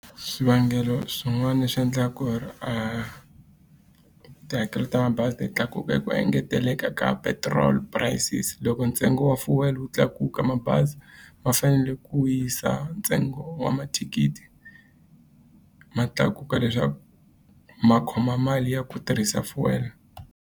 Swivangelo swin'wana leswi endlaka ku ri tihakelo ta mabazi ti tlakuka i ku engeteleka ka petrol prices. Loko ntsengo wa fuel wu tlakuka ka mabazi ma fanele ku yisa ntsengo wa mathikithi ma tlakuka, leswaku ma khoma mali ya ku tirhisa fuel.